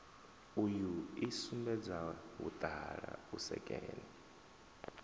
uyu i sumbedza vhuṱala vhusekene